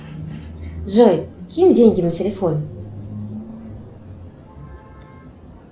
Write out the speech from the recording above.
джой кинь деньги на телефон